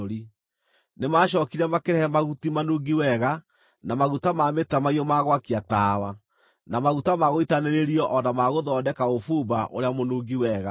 Nĩmacookire makĩrehe mahuti manungi wega, na maguta ma mĩtamaiyũ ma gwakia tawa, na maguta ma gũitanĩrĩrio o na ma gũthondeka ũbumba ũrĩa mũnungi wega.